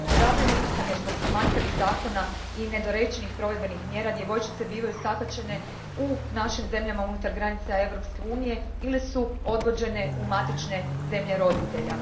Zabrinuta sam, jer zbog manjkavih zakona i nedorečenih provedbenih mjera djevojčice bivaju sakaćene u našim zemljama unutar granica Europske unije ili su odvođene u matične zemlje roditelja.